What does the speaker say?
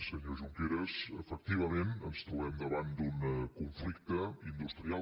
senyor junqueras efectivament ens trobem davant d’un conflicte industrial